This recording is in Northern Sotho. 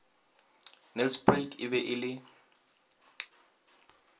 nelspruit e be e le